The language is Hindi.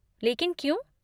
लेकिन क्यों?